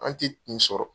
An tɛ nin sɔrɔ